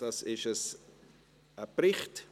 Es ist ein Bericht.